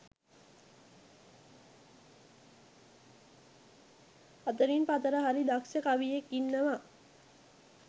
අතරින් පතර හරි දක්ශ කවියෙක් ඉන්නවා